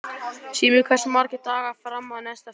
Simmi, hversu margir dagar fram að næsta fríi?